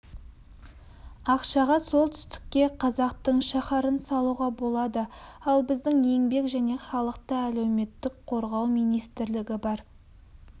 ақшаға солтүстікке қазақтың шаһарын салуға болады ал біздің еңбек және халықты әлеуметтік қорғау министрілігі бар